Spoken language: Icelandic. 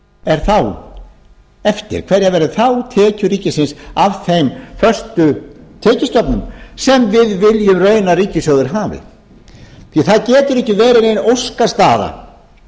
er þá eftir hverjar verða þá tekjur ríkisins af þeim föstu tekjustofnum sem við viljum í raun að ríkissjóður hafi það getur ekki verið nein óskastaða